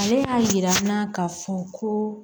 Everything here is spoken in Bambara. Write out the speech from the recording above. Ale y'a jira n na k'a fɔ ko